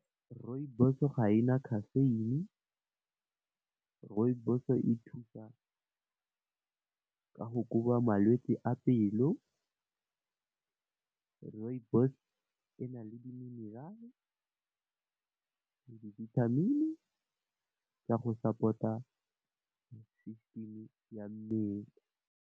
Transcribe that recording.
Rooibos ga ena caffeine, Rooibos e thusa ka go koba malwetse a pelo, Rooibos ena le di mineral, dibithamini tsa go support-a system ya mmele.